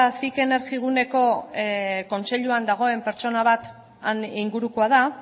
cic energiguneko kontseiluan dagoen pertsona bat han ingurukoa da